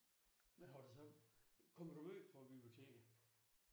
Hva har du så kommer du meget på biblioteket?